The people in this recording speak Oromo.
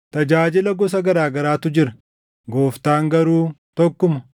Tajaajila gosa garaa garaatu jira; Gooftaan garuu tokkuma.